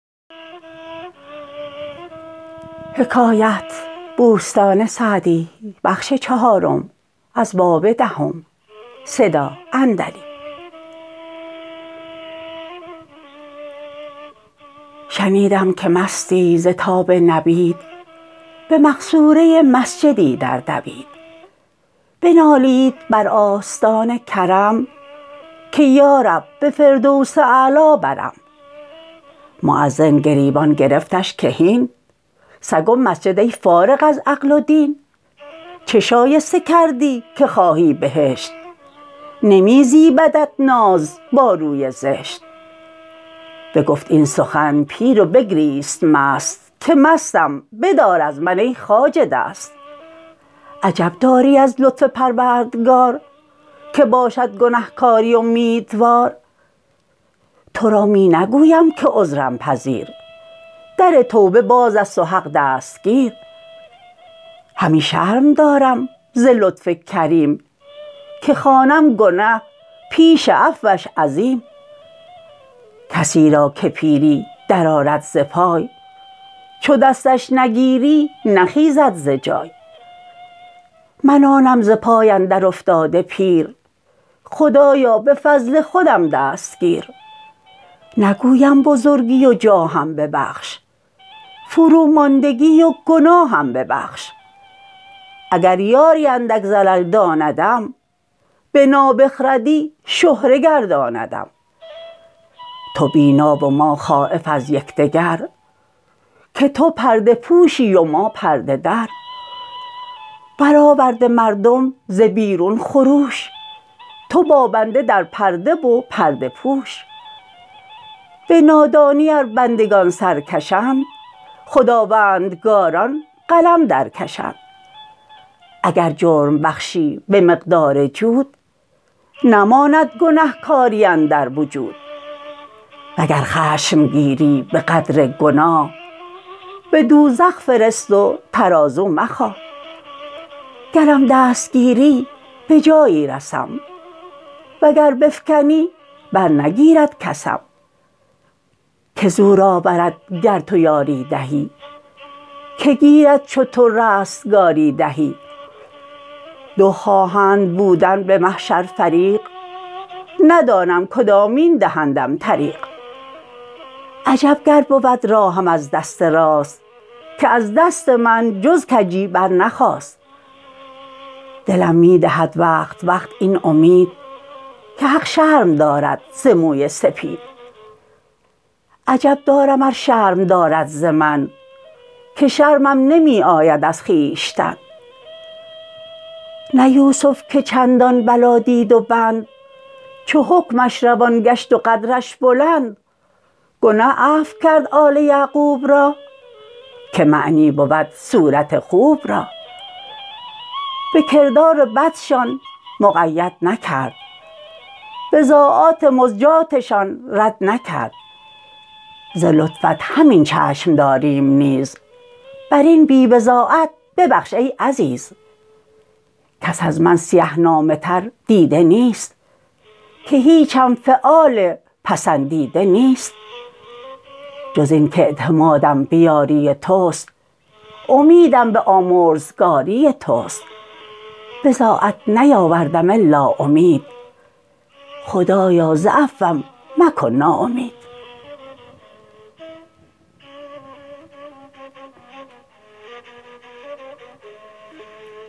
شنیدم که مستی ز تاب نبید به مقصوره مسجدی در دوید بنالید بر آستان کرم که یارب به فردوس اعلی برم مؤذن گریبان گرفتش که هین سگ و مسجد ای فارغ از عقل و دین چه شایسته کردی که خواهی بهشت نمی زیبدت ناز با روی زشت بگفت این سخن پیر و بگریست مست که مستم بدار از من ای خواجه دست عجب داری از لطف پروردگار که باشد گنهکاری امیدوار تو را می نگویم که عذرم پذیر در توبه باز است و حق دستگیر همی شرم دارم ز لطف کریم که خوانم گنه پیش عفوش عظیم کسی را که پیری در آرد ز پای چو دستش نگیری نخیزد ز جای من آنم ز پای اندر افتاده پیر خدایا به فضل خودم دست گیر نگویم بزرگی و جاهم ببخش فروماندگی و گناهم ببخش اگر یاری اندک زلل داندم به نابخردی شهره گرداندم تو بینا و ما خایف از یکدگر که تو پرده پوشی و ما پرده در برآورده مردم ز بیرون خروش تو با بنده در پرده و پرده پوش به نادانی ار بندگان سرکشند خداوندگاران قلم در کشند اگر جرم بخشی به مقدار جود نماند گنهکاری اندر وجود وگر خشم گیری به قدر گناه به دوزخ فرست و ترازو مخواه گرم دست گیری به جایی رسم وگر بفکنی بر نگیرد کسم که زور آورد گر تو یاری دهی که گیرد چو تو رستگاری دهی دو خواهند بودن به محشر فریق ندانم کدامین دهندم طریق عجب گر بود راهم از دست راست که از دست من جز کجی برنخاست دلم می دهد وقت وقت این امید که حق شرم دارد ز موی سپید عجب دارم ار شرم دارد ز من که شرمم نمی آید از خویشتن نه یوسف که چندان بلا دید و بند چو حکمش روان گشت و قدرش بلند گنه عفو کرد آل یعقوب را که معنی بود صورت خوب را به کردار بدشان مقید نکرد بضاعات مزجاتشان رد نکرد ز لطفت همین چشم داریم نیز بر این بی بضاعت ببخش ای عزیز کس از من سیه نامه تر دیده نیست که هیچم فعال پسندیده نیست جز این کاعتمادم به یاری تست امیدم به آمرزگاری تست بضاعت نیاوردم الا امید خدایا ز عفوم مکن ناامید